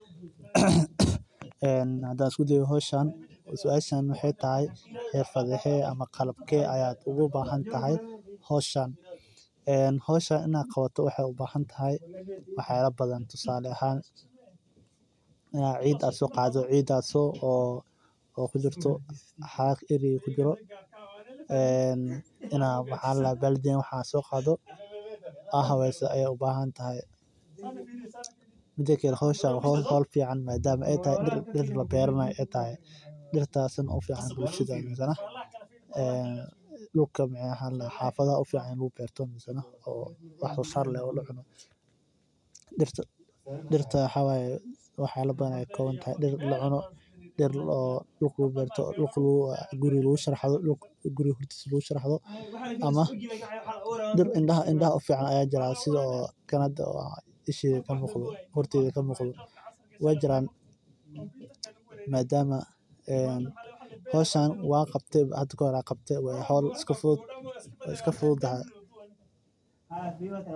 Hadaan isku dayo howshan ama suashan waxeey tahay qalabkee ugu bahan tahay howshan waxaay kaaga bahan tahay in ciid aad soo qaado xafadaha dagan aad iyo aad ayeey muhiim utahay sababta oo ah waxeey ledahay xoogsin loo jeedo waxaa noo muqadaa andow cagaaran oo kabuxdo ciid iyo qashinka dirta taas xanuun waye jirkada wuu burburaya masoo kici kartid.